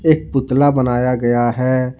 एक पुतला बनाया गया है।